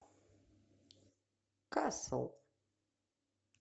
касл